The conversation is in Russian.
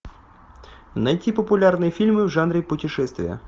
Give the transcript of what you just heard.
найти популярные фильмы в жанре путешествия